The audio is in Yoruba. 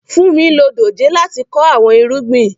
Funmi lo dójè láti kọ awọn irugbin.